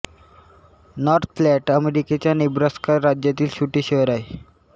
north Platte अमेरिकेच्या Nebraska राज्यातील छोटे शहर आहे